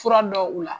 Fura dɔ u la